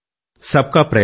Sabka Prayas